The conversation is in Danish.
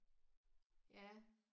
Ja